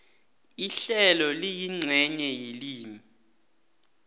ihlelo liyincenye yelimi